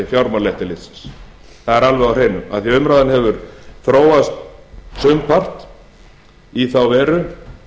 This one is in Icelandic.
fjármálaeftirlitsins það er alveg á hreinu af því umræðan hefur þróast sumpart í þá veru